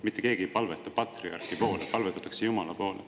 Mitte keegi ei palveta patriarhi poole, palvetatakse ikka Jumala poole.